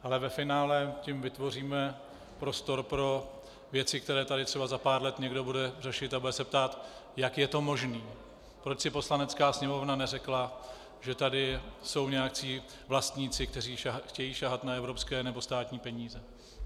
Ale ve finále tím vytvoříme prostor pro věci, které tady třeba za pár let někdo bude řešit, a bude se ptát, jak je to možné, proč si Poslanecká sněmovna neřekla, že tady jsou nějací vlastníci, kteří chtějí sahat na evropské nebo státní peníze.